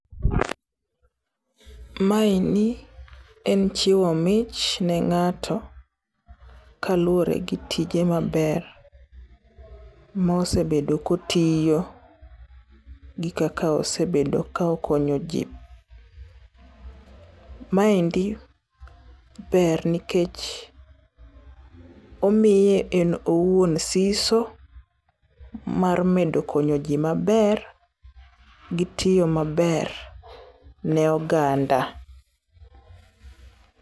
Maeni en chiwo mich ne ng'ato kaluwore gi tije maber mosebedo kotiyo, gi kaka osebedo ka okonyo ji. Maendi ber nikech omiye en owuon siso mar medo konyoji maber, gi tiyo maber ne oganda.